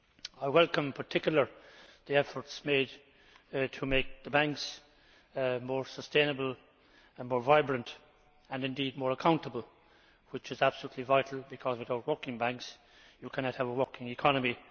I welcome in particular the efforts made to make the banks more sustainable and more vibrant, and indeed more accountable, which is absolutely vital because without working banks you cannot have a working economy.